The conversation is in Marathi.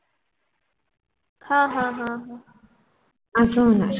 हा हा हा